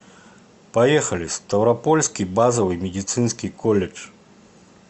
поехали ставропольский базовый медицинский колледж